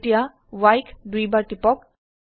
এতিয়া Y ক দুইবাৰ টিপক